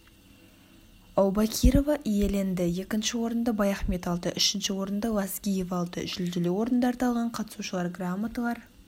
аубакирова иеленді екінші орынды баяхмет алды үшінші орынды лазгиева алды жүлделі орындарды алған қатысушылар граматалар